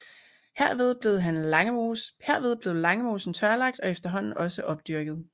Herved blev Langemosen tørlagt og efterhånden også opdyrket